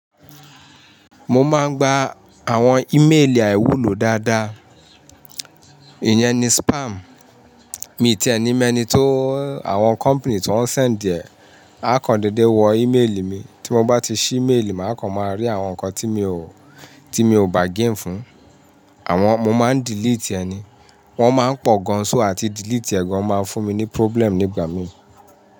Mo máa ń gba àwọn ímélì àìwúlò dáadáa. Ìyẹn ni spam. Mi ti ẹ ni mọ eni tó, àwọn company tó ń send ẹ, á kan dédé wọ ímélì mi. Tí mo bá ti ṣí ímeélì, màá kan máa rí àwọn nǹkan tí mi ò, tí mi ò bargain fún. Àwọn, mo máa ń delete ẹni. Wọ́n máa ń pọ̀ gan an so àti delete ẹ̀ gan an máa ń fún mi ní problem nígbà mi.